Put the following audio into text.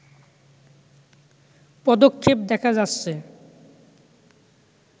পদক্ষেপ দেখা যাচ্ছে